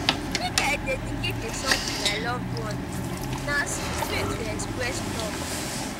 make i dedicate a song to my loved one; na sweet way to express love.